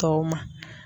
Tɔw ma